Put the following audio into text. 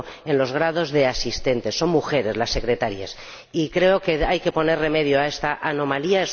el contrario, un 70 son mujeres las secretarias y creo que hay que poner remedio a esta anomalía.